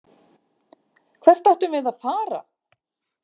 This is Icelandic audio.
Hvert ættum við að fara?